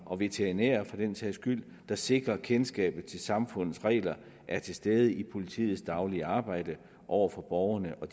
og veterinærer for den sags skyld der sikrer at kendskabet til samfundets regler er til stede i politiets daglige arbejde over for borgerne og